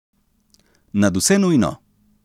Nadvse nujno.